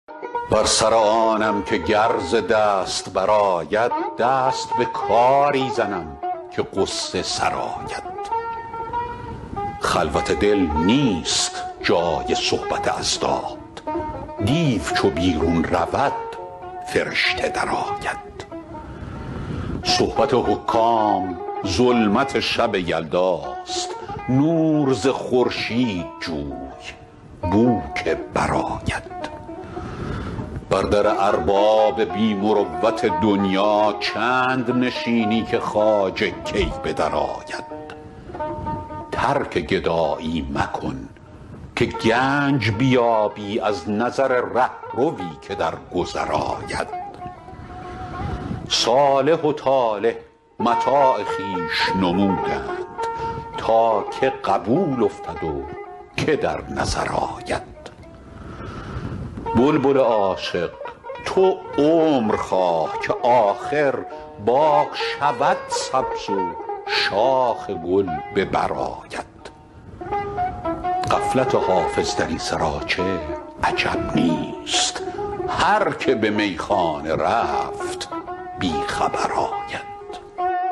بر سر آنم که گر ز دست برآید دست به کاری زنم که غصه سرآید خلوت دل نیست جای صحبت اضداد دیو چو بیرون رود فرشته درآید صحبت حکام ظلمت شب یلداست نور ز خورشید جوی بو که برآید بر در ارباب بی مروت دنیا چند نشینی که خواجه کی به درآید ترک گدایی مکن که گنج بیابی از نظر رهروی که در گذر آید صالح و طالح متاع خویش نمودند تا که قبول افتد و که در نظر آید بلبل عاشق تو عمر خواه که آخر باغ شود سبز و شاخ گل به بر آید غفلت حافظ در این سراچه عجب نیست هر که به میخانه رفت بی خبر آید